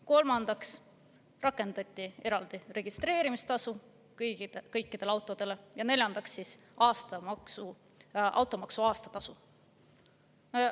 Kolmandaks rakendati eraldi registreerimistasu kõikidele autodele ja neljandaks, automaksu aastatasu.